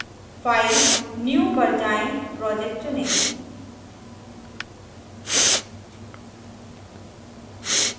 file new पर जाएँ project चुनें